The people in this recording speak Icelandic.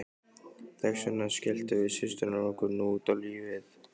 Þess vegna skelltum við systurnar okkur nú út á lífið.